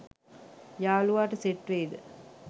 යලුවාට set වෙයිද